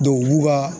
u b'u ka